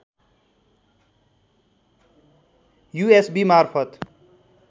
USB मार्फत